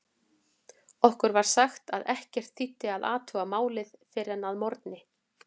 Okkur var sagt að ekkert þýddi að athuga málið fyrr en að morgni.